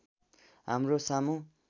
हाम्रो सामु